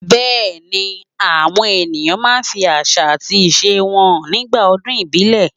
Bẹẹni àwọn èèyàn máa ń fi àṣà àti ìṣe wọn hàn nígbà ọdún ìbílẹ̀.